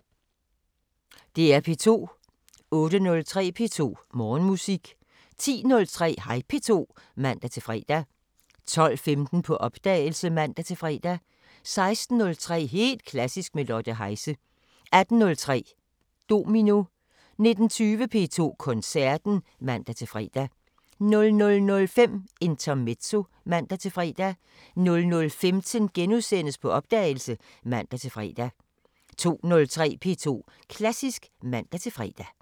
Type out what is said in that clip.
08:03: P2 Morgenmusik 10:03: Hej P2 (man-fre) 12:15: På opdagelse (man-fre) 16:03: Helt Klassisk med Lotte Heise 18:03: Domino 19:20: P2 Koncerten (man-fre) 00:05: Intermezzo (man-fre) 00:15: På opdagelse *(man-fre) 02:03: P2 Klassisk (man-fre)